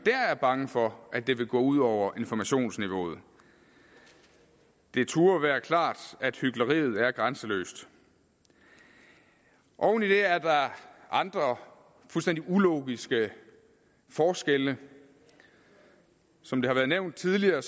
er bange for at det vil gå ud over informationsniveauet det turde være klart at hykleriet er grænseløst oven i det er der andre fuldstændig ulogiske forskelle som det har været nævnt tidligere